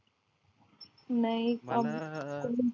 नाही